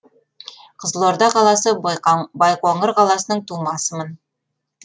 қызылорда қаласы байқоңыр қаласының тумасымын